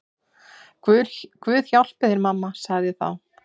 Guð hjálpi þér mamma, sagði þá